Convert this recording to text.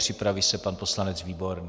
Připraví se pan poslanec Výborný.